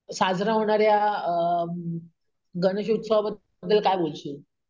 साजरा होणाऱ्या अम गणेशोत्सवाबद्दल कायबोलशील?